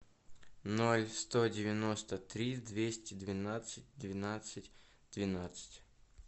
ноль сто девяносто три двести двенадцать двенадцать двенадцать